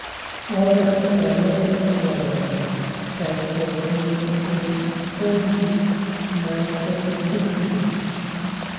Waa maxay calaamadaha iyo calaamadaha Trichothiodystrophy non-photosensitive?